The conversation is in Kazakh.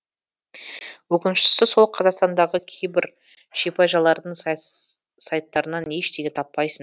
өкініштісі сол қазақстандағы кейбір шипажайлардың сайттарынан ештеңе таппайсың